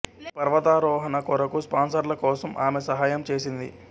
ఈ పర్వతారోహణ కొరకు స్పాన్సర్ల కోసం ఆమె సహాయం చేసింది